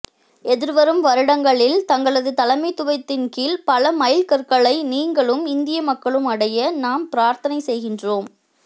எதிர்வரும் வருடங்களில் தங்களது தலைமைத்துவத்தின் கீழ் பல மைல் கற்களை நீங்களும் இந்திய மக்களும் அடைய நாம் பிரார்த்தனை செய்கின்றோம்